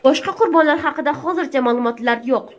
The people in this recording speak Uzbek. Boshqa qurbonlar haqida hozircha ma’lumot yo‘q.